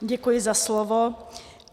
Děkuji za slovo.